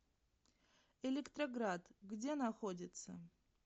электроград где находится